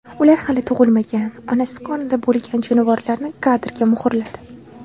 Ular hali tug‘ilmagan, onasi qornida bo‘lgan jonivorlarni kadrga muhrladi.